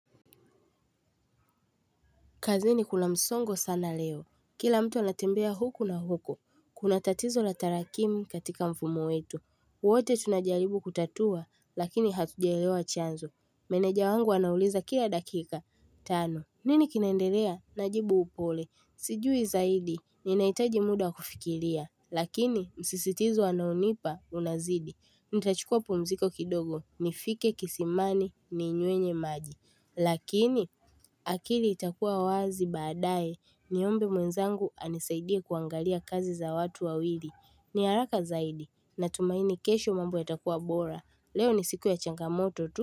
Kazini kuna msongo sana leo. Kila mtu naatembea huku na huku. Kuna tatizo la tarakimu katika mfumu wetu. Wote tunajaribu kutatua lakini hatujaelewa chanzo. Meneja wangu anauliza kila dakika. Tano, nini kinendelea? Najibu upole. Sijui zaidi. Ninahitaji muda wa kufikiria. Lakini msisitizo anaonipa unazidi. Nitachukua pumziko kidogo. Nifike kisimani ninywenye maji. Lakini akili itakuwa wazi baadae niombe mwenzangu anisaidia kuangalia kazi za watu wawili. Ni haraka zaidi natumaini kesho mambo yatakuwa bora. Leo ni siku ya changamoto tu.